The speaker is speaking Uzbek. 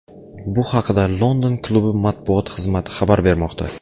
Bu haqida London klubi matbuot xizmati xabar bermoqda .